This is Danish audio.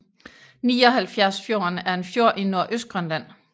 Nioghalvfjerdsfjorden er en fjord i Nordøstgrønland